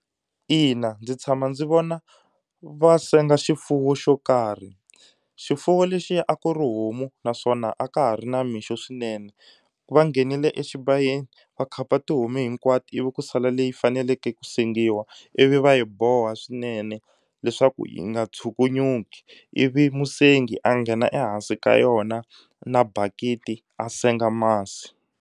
Ina ndzi tshama ndzi vona va senga xifuwo xo karhi. Xifuwo lexiya a ku ri homu naswona a ka ha ri namixo swinene. Va nghenile exibayeni va khapa tihomu hinkwato ivi ku sala leyi faneleke ku sengiwa ivi va yi boha swinene leswaku yi nga tshukunyuki ivi musengi a nghena ehansi ka yona na bakiti a senga masi.